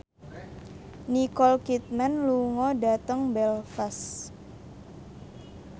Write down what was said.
Nicole Kidman lunga dhateng Belfast